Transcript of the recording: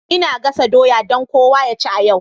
Ina gasa doya don kowa ya ci a yau.